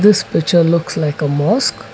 this picture looks like a mosque.